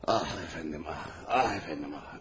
Ah, əfəndim, ah, ah, əfəndim, ah!